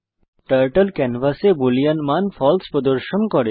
turtle ক্যানভাসে boolean মান ফালসে প্রদর্শন করে